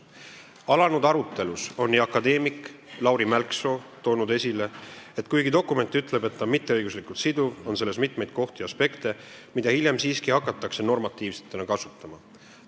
Alanud arutelus on akadeemik Lauri Mälksoo toonud esile: "Kuigi dokument ütleb, et ta on 'mitte-õiguslikult siduv', on selles mitmeid kohti ja aspekte, mida hiljem siiski hakatakse normatiivsetena kasutama.